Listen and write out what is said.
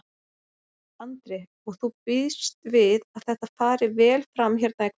Andri: Og þú býst við að þetta fari vel fram hérna í kvöld?